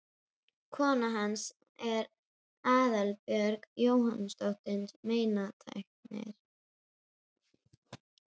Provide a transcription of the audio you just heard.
Kona hans er Aðalbjörg Jónasdóttir meinatæknir.